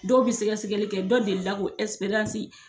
Dɔw be sɛgɛsɛli kɛ dɔ deli ka o ɛsiperansi